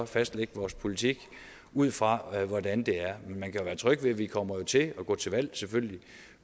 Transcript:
fastlægge vores politik ud fra hvordan det er men man kan jo være tryg ved at vi kommer til at gå til valg